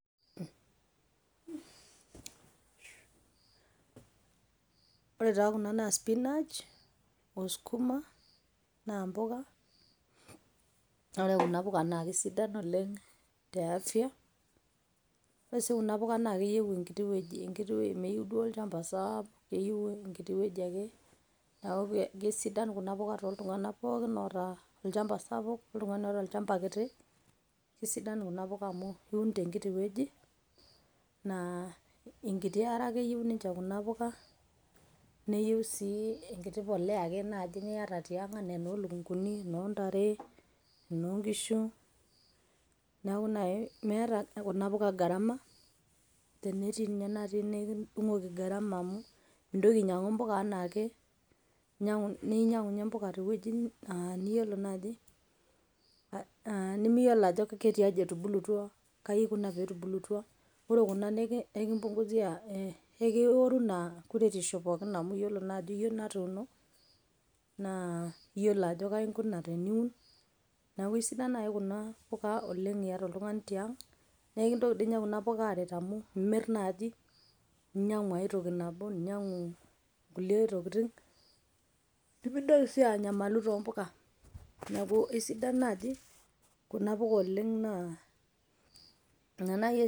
Ore taa kuna naa spinach o sukuma naa mpuka, ore kuna puka naa sidan oleng' te afia. ore sii kuna puka naa keyeu enkiti wueji meyeu duo olchamba saapuk eyeu enkiti wueji ake, neeku kesidan kuna puka toltung'anak pookin aota olchamba sapuk oltung'ani oata olchamba kiti. Kesidan kuna puka amu iun tenkiti wueji naa enkiti are ake eyeu ninje kuna puka, neyeu sii enkiti polea ake naaji niata tiang' enaa enoo lukung'uni, enoo ntare, enoo nkishu. Neeku nai meeta kuna puka gharama tenetii nye natii nekidung'oki gharama amu mintoki ainyang'u mpuka enaa ake ninyang'u nye mpuka tewueji niyolo naaji nemiyolo ajo ketiai etubulutua , kai ikuna peetubulutua. Ore kuna kekipunguzia, kekioru ina kuretishu pookin amu iyiolo naa ajo iyie natuuno naa iyiolo ajo kai inguna teniun neeku sidan nai kuna puka oleng' iata oltung'ani tiang' naa kintoki ninye puka amu imir naaji ninyang'u ai toki nabo ninyang'u kulie tokitin. Nemintoki sii anyamalu too mpuka, neeku esidan naaji kuna puka oleng' naa.